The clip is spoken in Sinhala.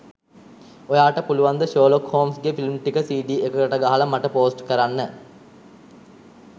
ඔයට පුලුවන්ද ශර්ලොක් හොම්ස් ගෙ ෆිල්ම් ටික සිඩි එකකට ගහල මට පෝස්ට් කරන්න.